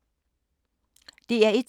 DR1